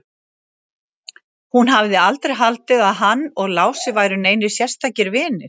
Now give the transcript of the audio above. Hún hafði aldrei haldið að hann og Lási væru neinir sérstakir vinir.